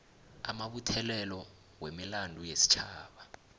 amabuthelelo wemilando yesitjhaba